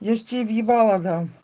я же тебе в ебало дам